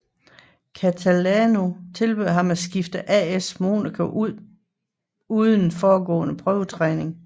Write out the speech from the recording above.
Catalano tilbød ham at skifte til AS Monaco uden forudgående prøvetræning